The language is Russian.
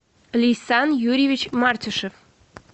лейсан юрьевич мартишев